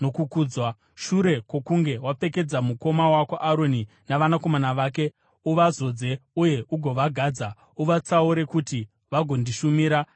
Shure kwokunge wapfekedza mukoma wako Aroni navanakomana vake, uvazodze uye ugovagadza. Uvatsaure kuti vagondishumira savaprista.